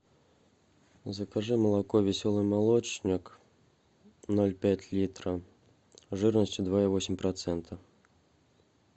закажи молоко веселый молочник ноль пять литра жирностью два и восемь процента